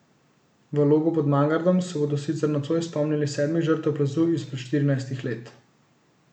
V Logu pod Mangartom se bodo sicer nocoj spomnili sedmih žrtev plazu izpred štirinajstih let.